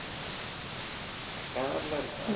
கிணறெல்லாம் இருக்கா